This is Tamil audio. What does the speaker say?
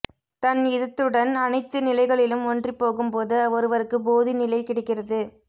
தன் யிதத்துடன் அனைத்து நிலைகளிலும் ஒன்றிப்போகும் போது ஒருவருக்கு போதி நிலை கிடைக்கிறது